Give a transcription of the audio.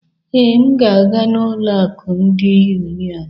Ee, m ga-aga n'ụlọ akụ ndị Union.